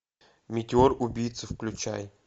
метеор убийца включай